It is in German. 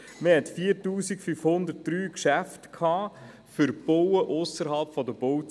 Es gab 4503 Geschäfte für das Bauen ausserhalb der Bauzone.